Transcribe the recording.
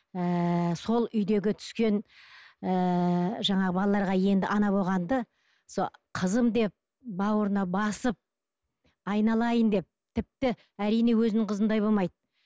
ыыы сол үйдегі түскен ыыы жаңағы балаларға енді ана болғанды сол қызым деп бауырына басып айналайын деп тіпті әрине өзінің қызындай болмайды